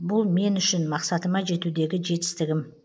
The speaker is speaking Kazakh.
бұл мен үшін мақсатыма жетудегі жетістігім